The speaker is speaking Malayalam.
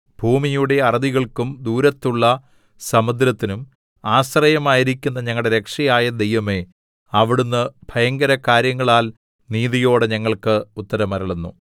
ഭൂമിയുടെ അറുതികൾക്കും ദൂരത്തുള്ള സമുദ്രത്തിനും ആശ്രയമായിരിക്കുന്ന ഞങ്ങളുടെ രക്ഷയായ ദൈവമേ അവിടുന്ന് ഭയങ്കരകാര്യങ്ങളാൽ നീതിയോടെ ഞങ്ങൾക്ക് ഉത്തരമരുളുന്നു